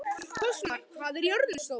Fossmar, hvað er jörðin stór?